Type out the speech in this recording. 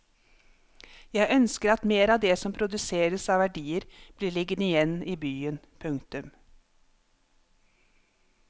Jeg ønsker at mer av det som produseres av verdier blir liggende igjen i byen. punktum